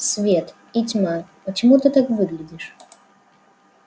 свет и тьма почему ты так выглядишь